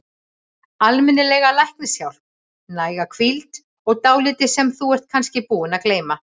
Almennilega læknishjálp, næga hvíld, og dálítið sem þú ert kannski búin að gleyma.